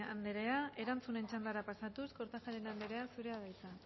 andrea erantzunen txandara pasatuz kortajarena andrea zurea da hitza